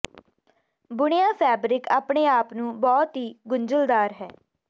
ਬੁਣਿਆ ਫੈਬਰਿਕ ਆਪਣੇ ਆਪ ਨੂੰ ਬਹੁਤ ਹੀ ਗੁੰਝਲਦਾਰ ਹੈ